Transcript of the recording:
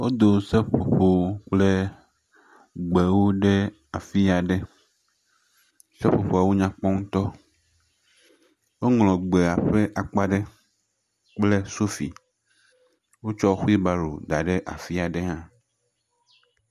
Wodo seƒoƒowo kple gbewo ɖe afi aɖe, seƒoƒoawo nyakpɔ ŋutɔ, woŋlɔ gbea ƒe akpa aɖe, kple sofi, wotsɔ xuilbaro da ɖe afi aɖe hã.